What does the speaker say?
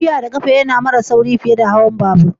Tafiya da kafa ya na mara sauri fiye da hawan labur.